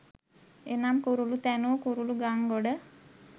එනම් කුරුලු තැනූ කුරුලුගංගොඩ